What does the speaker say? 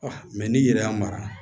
mɛ n'i yɛrɛ y'a mara